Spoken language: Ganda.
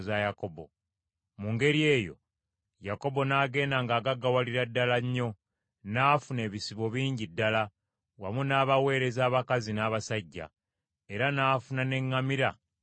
Mu ngeri eyo Yakobo n’agenda ng’agaggawalira ddala nnyo, n’afuna ebisibo bingi ddala, wamu n’abaweereza abakazi n’abasajja; era n’afuna n’eŋŋamira n’embalaasi.